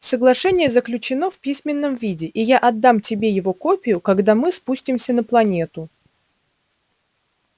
соглашение заключено в письменном виде и я отдам тебе его копию когда мы спустимся на планету